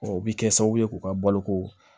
o bɛ kɛ sababu ye k'u ka baloko